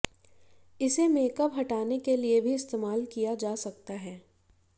इसे मेकअप हटाने के लिए भी इस्तेमाल किया जा सकता है